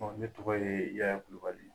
Ne tɔgɔ ye Yaya Kulubali ye